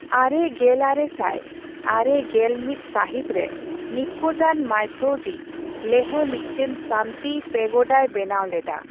ᱟᱨᱮᱜᱮᱞᱟᱨᱮᱥᱟᱭ ᱟᱨᱮᱜᱮᱞᱢᱤᱛᱥᱟᱹᱦᱤᱛ ᱨᱮ, ᱱᱤᱯᱯᱚᱱᱡᱟᱱ ᱢᱟᱭOᱷᱳᱡᱤ ᱞᱮᱦᱮ ᱢᱤᱫᱴᱮᱱ ᱥᱟᱱᱛᱤ ᱯᱮᱜᱳᱰᱟᱭ ᱵᱮᱱᱟᱣ ᱞᱮᱫᱟ ᱾